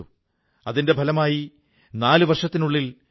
തീർഥാടനം ഭാരതതത്തെ ഒരുചരടിൽ കോർത്തിണക്കുന്നു